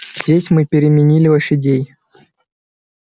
здесь мы переменили лошадей